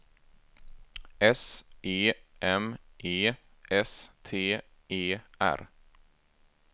S E M E S T E R